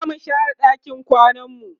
zamu share ɗakin kwananmu